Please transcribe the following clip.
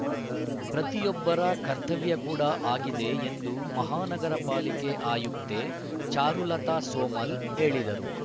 ಪ್ರತಿಯೊಬ್ಬರ ಕರ್ತವ್ಯ ಕೂಡ ಆಗಿದೆ ಎಂದು ಮಹಾನಗರ ಪಾಲಿಕೆ ಆಯುಕ್ತೆ ಚಾರುಲತಾ ಸೋಮಲ್‌ ಹೇಳಿದರು